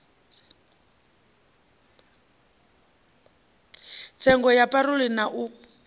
tsengo ya parole na u